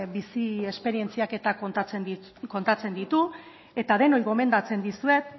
bizi esperientziak eta kontatzen ditu eta denoi gomendatzen dizuet